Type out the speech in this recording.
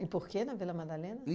E por que na Vila Madalena?